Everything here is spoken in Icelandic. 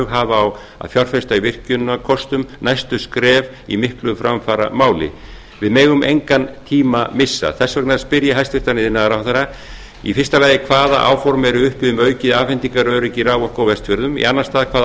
hafa á að fjárfesta í virkjunarkostum næstu skref í miklu framfaramáli við megum engan tíma missa þess vegna spyr ég hæstvirtur iðnaðarráðherra í fyrsta lagi hvaða áform eru uppi um aukið afhendingaröryggi á vestfjörðum í annan stað hvaða